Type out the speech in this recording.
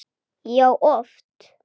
Já, oft.